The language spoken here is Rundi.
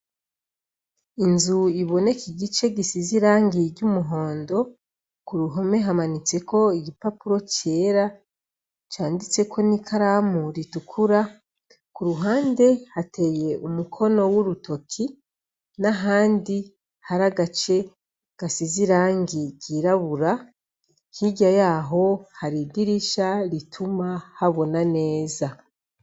Inzu iboneka igice gisize irangi ry'umuhondo, k'uruhome hamanitseko igipapuro cera canditseko n'ikaramu ritukura, k'uruhande hateye umukino w'urutoke, n'ahandi hari agace gasize irangi ry'irabura, hirya yaho hari idirisha rituma habona neza.